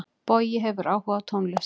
Bogi hefur áhuga á tónlist.